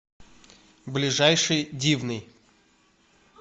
ближайший дивный